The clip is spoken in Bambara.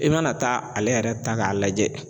I mana taa ale yɛrɛ ta k'a lajɛ